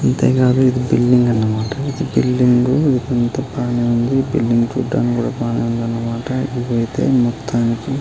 అంతే కాదు ఇది ఒక బిల్డింగ్ అన్నమాట. ఇది బిల్డింగ్గు అంత బాగానే ఉంది. బిల్డింగ్ చుడానికి కూడ బాగానే ఉంది అన్నమాట. ఇది అయితే మొత్తానికి --